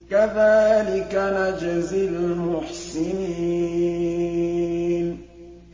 كَذَٰلِكَ نَجْزِي الْمُحْسِنِينَ